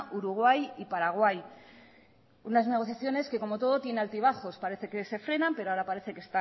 uruguay y paraguay unas negociaciones que como todo tiene altibajos parece que